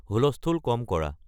হুলস্থুল কম কৰা